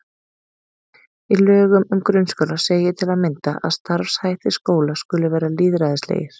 Í lögum um grunnskóla segir til að mynda að starfshættir skóla skuli vera lýðræðislegir.